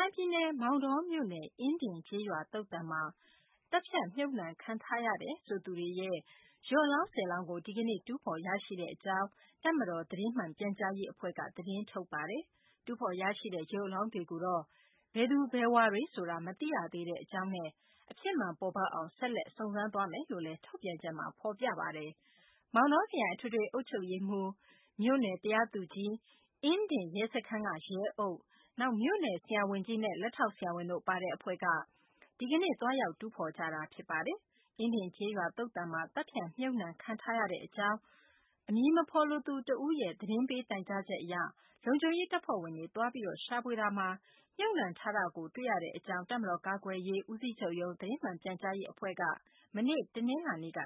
ိုင်ပြည်နယ်၊ မောင်တောမြို့နယ်၊အင်းဒင် ကျေးရွာသုဿန်မှာ သတ်ဖြတ် မြှုပ်နှံခံထားရတယ်ဆိုသူတွေရဲ့ ရုပ်အလောင်း ၁၀ လောင်းကို ဒီကနေ့ တူးဖော်ရရှိကြောင်း တပ်မတော် သတင်းမှန်ပြန်ကြားရေး အဖွဲ့က သတင်းထုတ်ပါတယ်။ တူးဖော်ရရှိတဲ့ ရုပ်အလောင်းတွေကိုတော့ ဘယ်သူဘယ်ဝါတွေ ဆိုတာ မသိရသေးတဲ့ အကြောင်းနဲ့ အဖြစ်မှန် ပေါ်ပေါက်အောင် ဆက်လက် စုံစမ်းသွားမယ်လို့လည်း သတင်းမှာ ဖော်ပြပါတယ်။ မောင်တောခရိုင် အထွေထွေ အုပ်ချုပ်ရေးမှူး၊ မြို့နယ် တရားသူကြီး ၊ အင်းဒင် ရဲစခန်းက ရဲအုပ်၊ မြို့နယ် ဆရာဝန်ကြီးနဲ့ လက်ထောက်ဆရာဝန်တို့ ပါတဲ့ အဖွဲ့က ဒီကနေ့ သွားရောက် တူးဖော်ကြတာ ဖြစ်ပါတယ်။ အင်းဒင် ကျေးရွာ သုဿန်မှာ သတ်ဖြတ် မြှုပ်နှံခံထားရကြောင်း အမည်မဖော်လိုသူ တဦးရဲ့ သတင်းပေး တိုင်ကြားချက် အရ လုံခြုံရေး တပ်ဖွဲ့ဝင်တွေ သွားရောက် ရှာဖွေတာမှာ မြုပ်နှံထားတဲ့ အလောင်းတွေကို တွေ့ရကြောင်း တပ်မတော် ကာကွယ်ရေး ဦးစီးချုပ်ရုံး သတင်းမှန် ပြန်ကြားရေး အဖွဲ့က မနေ့ တနလာၤနေ့က